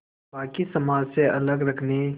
बाक़ी समाज से अलग रखने